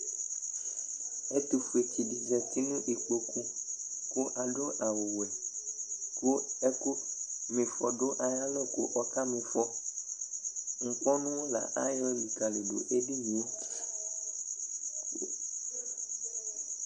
Ɛtʋfuetsɩ dɩ zati nʋ ikpoku ,k'adʋ awʋwɛ ,kʋ ɛkʋmɩfɔ dʋ ayalɔ k'ɔka m'ɩfɔ Ŋkpɔnʋ la ayɔ likǝli dʋ edinie